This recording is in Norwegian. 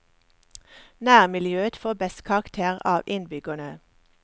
Nærmiljøet får best karakter av innbyggerne.